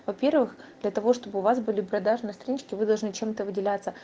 во-первых для того чтобы у вас были продажные странички вы должны чем-то выделяться